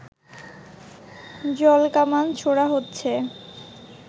জলকামান ছোড়া হচ্ছে